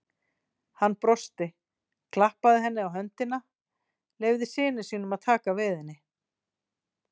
Hann brosti, klappaði henni á höndina, leyfði syni sínum að taka við henni.